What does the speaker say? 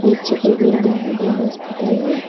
पीछे कोई बिल्डिंग या हॉस्पिटल है।